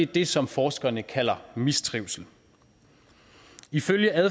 det som forskerne kalder mistrivsel ifølge